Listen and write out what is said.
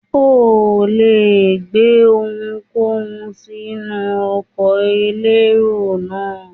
O le gbé ohunkóhun sínú ọkọ̀ elérò náà.